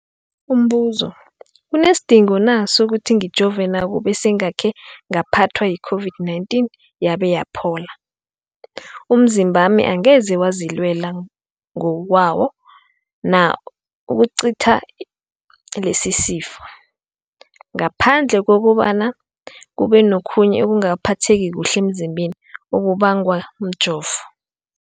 Umbuzo, kunesidingo na sokuthi ngijove nakube sengakhe ngaphathwa yi-COVID-19 yabe yaphola? Umzimbami angeze wazilwela ngokwawo na ukucitha lesisifo, ngaphandle kobana kube nokhunye ukungaphatheki kuhle emzimbeni okubangwa mjovo?